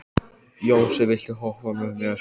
Jónsi, viltu hoppa með mér?